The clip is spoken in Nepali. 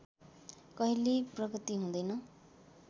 कहिल्यै प्रगति हुँदैन